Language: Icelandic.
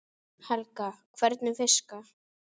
Helga: Hvernig fiska?